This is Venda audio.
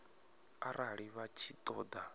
arali vha tshi ṱo ḓa